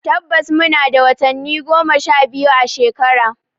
Tabbas muna da watanni goma sha biyu a shekara.